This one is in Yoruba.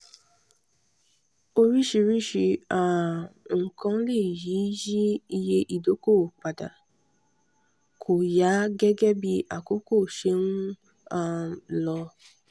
oríṣiríṣi um nǹkan lè yí yí iye ìdókòwò padà kóyà gẹgẹ bí àkókò ṣe ń um lọ.